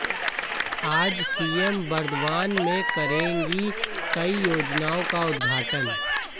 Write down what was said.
आज सीएम बर्दवान में करेंगी कई योजनाओं का उद्घाटन